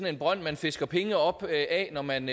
en brønd man fisker penge op af når man